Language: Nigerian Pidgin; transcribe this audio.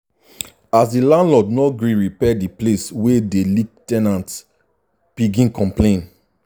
as the landlord no gree repair the place wey dey leak ten ants begin complain.